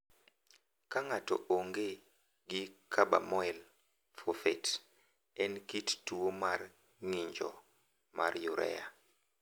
Ka ng’ato onge gi karbamoil fosfet, en kit tuwo mar ng’injo mar urea.